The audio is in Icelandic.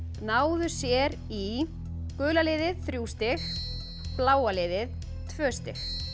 náðu sér í gula liðið þrjú stig bláa liðið tvö stig